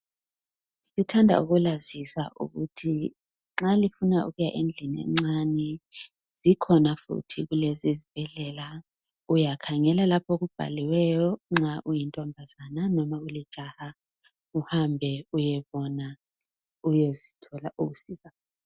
Siithanda ukulazisa ukuthi nxa lifuna ukuya endlini encane ,zikhona futhi kulesi isibhedlela .Uyakhangela lapho okubhaliweyo nxa uyintombaza noma ulijaha uhambe uyebona ,uyethola ukusizakala.